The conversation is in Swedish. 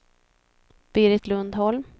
Berit Lundholm